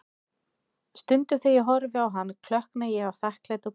Stundum þegar ég horfi á hann, klökkna ég af þakklæti og gleði.